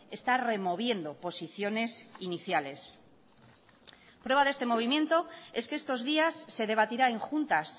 está removiendo posiciones iniciales prueba de este movimiento es que estos días se debatirá en juntas